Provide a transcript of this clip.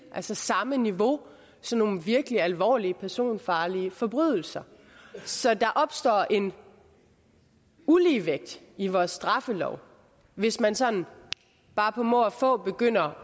altså samme niveau som nogle virkelig alvorlige personfarlige forbrydelser så der opstår en uligevægt i vores straffelov hvis man sådan bare på må og få begynder